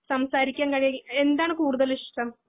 സംസാരിക്കാൻ കഴിയേ എന്താണ് കൂടുത്താൽ ഇഷ്ട്ടം